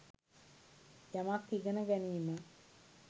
යමක් ඉගෙන ගැනීම